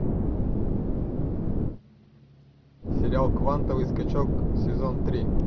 сериал квантовый скачок сезон три